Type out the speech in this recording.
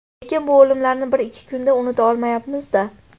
Lekin bu o‘limlarni bir-ikki kunda unuta olmayapmiz-da.